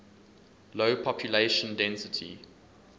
low population density